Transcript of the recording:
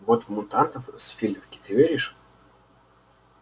вот в мутантов с филевки ты веришь